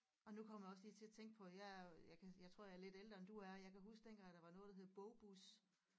Og nu kommer jeg også lige til at tænke på at jeg øh jeg kan jeg tror jeg er lidt ældre end du er jeg kan huske dengang der var noget der hed bogbus